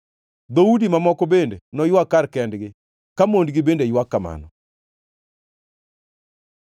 Dhoudi mamoko bende noywag kar kendgi, ka mondgi bende ywak kamano.”